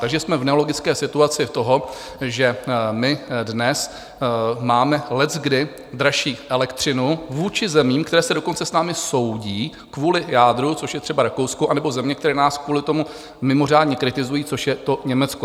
Takže jsme v nelogické situaci toho, že my dnes máme leckdy dražší elektřinu vůči zemím, které se dokonce s námi soudí kvůli jádru, což je třeba Rakousko, anebo země, které nás kvůli tomu mimořádně kritizují, což je to Německo.